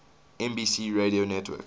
nbc radio network